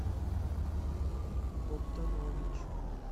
богданович